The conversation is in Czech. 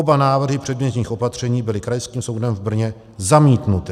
Oba návrhy předběžných opatření byly Krajským soudem v Brně zamítnuty.